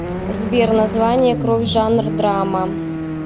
сбер название кровь жанр драма